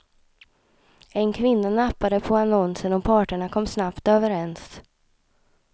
En kvinna nappade på annonsen och parterna kom snabbt överens.